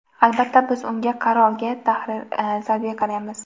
Albatta, biz unga (qarorga – tahr.) salbiy qaraymiz.